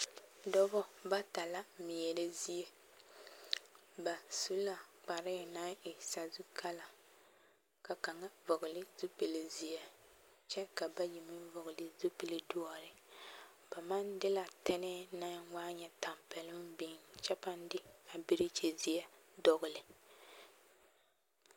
Dɔbɔ bata la meɛrɛ zie ba su la kparɛɛ naŋ e sazu kala ka kaŋa vɔgele zupili zeɛ kyɛ ka bayi meŋ vɔgele zupili doɔre, ba maŋ de la tɛnɛɛ naŋ waa nyɛ tampɛloŋ biŋ kyɛ pãã de a berekyi zeɛ dɔgele.